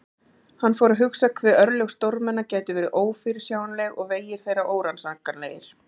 Hann fór að hugsa um hve örlög stórmenna gætu verið ófyrirsjáanleg og vegir þeirra órannsakanlegir.